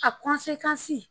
A